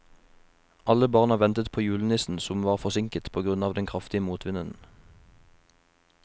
Alle barna ventet på julenissen, som var forsinket på grunn av den kraftige motvinden.